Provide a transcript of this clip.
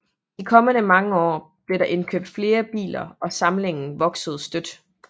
De kommende år blev der indkøbt flere biler og samlingen voksede støt